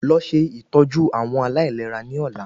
Lọ ṣe Ìtọ́jú àwọn aláìlera ní ọ̀la